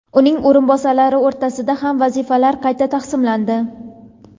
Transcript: uning o‘rinbosarlari o‘rtasida ham vazifalar qayta taqsimlandi.